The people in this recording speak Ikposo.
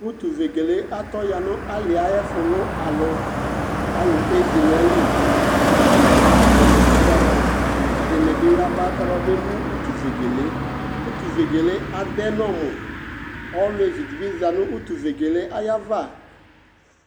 Utuvegele yɛ atɔ ya nʋ alɩ yɛ ayʋ ɛfʋlʋ alʋ Alʋ ezi nʋ ayili kʋ atanɩ alʋ atamɩ ɔnʋ ayaɣa, ɛdɩnɩ bɩ yaba kababemu utuvegele yɛ Utuvegele yɛ adɛ nʋ ɔmʋ Olevi dɩ bɩ za nʋ utuvegele yɛ ayava